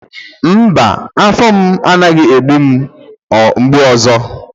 mba, afọ m anaghị egbu m mgbu ọzọ